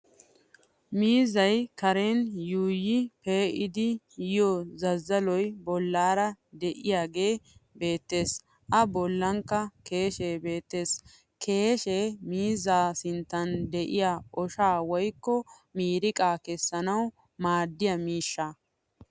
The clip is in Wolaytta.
Miizzay Karen yuuyyi pee'idi yiyo zazzaloy ballaara de'iyaagee beettes a bollankka keeshee beettes. Keeshshe miizzaa sinttan de'iya oshaa woykko miiriqaa kessana maaddiya miishshaa.